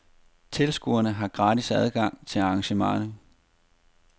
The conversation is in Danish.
Tilskuere har gratis adgang til arrangementet.